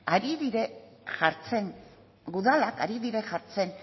ari dira jartzen udalak ari dira jartzen